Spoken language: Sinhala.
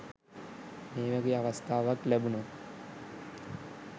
මේ වගේ අවස්ථාවක් ලැබුනොත්